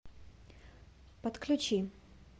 подключи